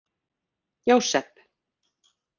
Jósep